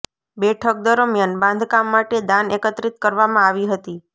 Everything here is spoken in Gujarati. બેઠક દરમિયાન બાંધકામ માટે દાન એકત્રિત કરવામાં આવી હતી